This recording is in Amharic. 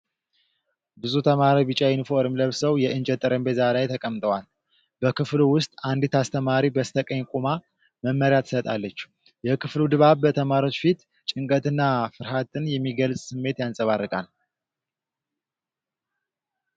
ብዙ ተማሪዎች ቢጫ ዩኒፎርም ለብሰው የእንጨት ጠረጴዛ ላይ ተቀምጠዋል። በክፍሉ ውስጥ አንዲት አስተማሪ በስተቀኝ ቆማ መመሪያ ትሰጣለች። የክፍሉ ድባብ በተማሪዎቹ ፊት ጭንቀትን እና ፍርሃትን የሚገልጽ ስሜት ያንጸባርቃል።